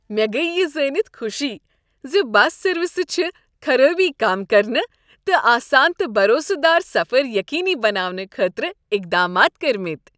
مےٚ گٔیہ یہ زٲنِتھ خوشی زِ بس سٔروسہِ چھ خرٲبی كم كرنہٕ، تہٕ آسان تہٕ بھروسہٕ دار سفر یقینی بناونہٕ خٲطرٕ اقدامات کٔرۍمٕتۍ۔